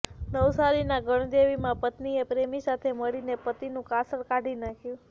નવસારીના ગણદેવીમાં પત્નીએ પ્રેમી સાથે મળીને પતિનું કાસળ કાઢી નાખ્યું